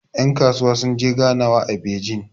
yankasuwa sun je ganwa a bejin